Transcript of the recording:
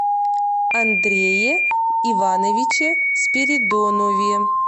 андрее ивановиче спиридонове